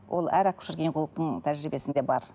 ол әр акушер гинекологтың тәжірибесінде бар